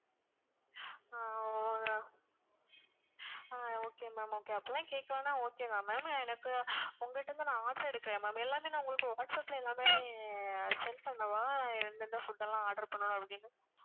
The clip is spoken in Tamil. ஆஹ் ஆஹ் okay ma'am okay அப்படிலாம் கேக்கலன்னா okay தான் ma'am எனக்கு உங்கள்ட இருந்து நான் order எடுக்குறேன் ma'am எல்லாமே நான் உங்களுக்கு whatsapp ல எல்லாமே send பண்ணவா எந்த எந்த food எல்லாம் order பண்ணணும் அப்படின்னு